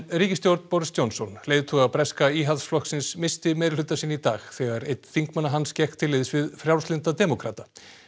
ríkisstjórn Boris Johnson leiðtoga breska Íhaldsflokksins missti meirihluta sinn í dag þegar einn þingmanna hans gekk til liðs við Frjálslynda demókrata